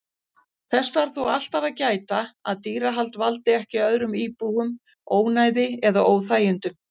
Þess þarf þó alltaf að gæta að dýrahald valdi ekki öðrum íbúum ónæði eða óþægindum.